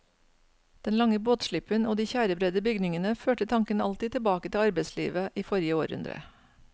Den lange båtslippen og de tjærebredde bygningene førte tanken alltid tilbake til arbeidslivet i forrige århundre.